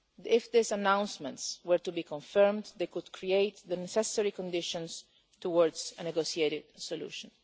If these announcements were to be confirmed they could create the necessary conditions towards a negotiated solution.